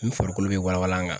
N farikolo be walawala n kan